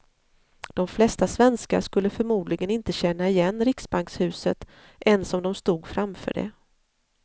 De flesta svenskar skulle förmodligen inte känna igen riksbankshuset ens om de stod framför det.